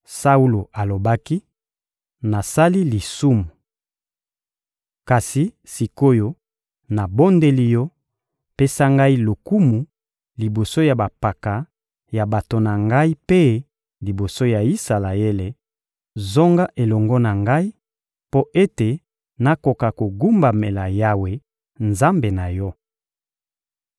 Saulo alobaki: — Nasali lisumu. Kasi, sik’oyo, nabondeli yo: pesa ngai lokumu liboso ya bampaka ya bato na ngai mpe liboso ya Isalaele, zonga elongo na ngai mpo ete nakoka kogumbamela Yawe, Nzambe na yo.